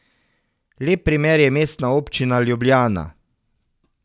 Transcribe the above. Lep primer je Mestna občina Ljubljana.